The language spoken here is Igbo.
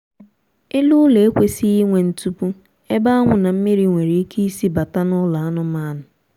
elu ụlọ ekwesịghị inwe ntupu ebe anwụ na mmiri nwere ike isi bata n'ụlọ anụmaanụ